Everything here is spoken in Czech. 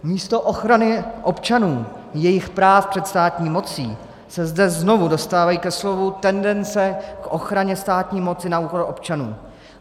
Místo ochrany občanů, jejich práv před státní mocí se zde znovu dostávají ke slovu tendence k ochraně státní moci na úkor občanů.